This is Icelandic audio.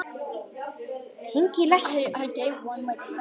Mér hafði tekist allt sem ég vildi.